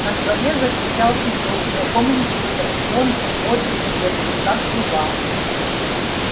на дворе закричал петух знакомым криком звонким бодрым и резким как труба